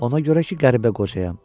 Ona görə ki, qəribə qocayam.